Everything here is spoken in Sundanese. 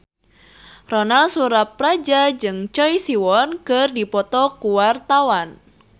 Ronal Surapradja jeung Choi Siwon keur dipoto ku wartawan